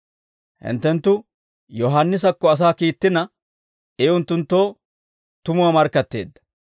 «Hinttenttu Yohaannisakko asaa kiittina, I unttunttoo tumuwaa markkatteedda.